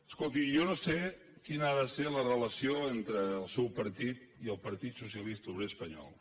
escolti jo no sé quina ha de ser la relació entre el seu partit i el partit socialista obrer espanyol